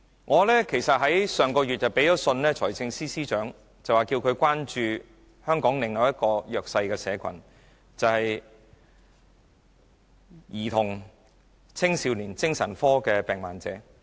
我曾於上月去信財政司司長，要求他關注本港另一個弱勢社群，就是青少年精神病患者。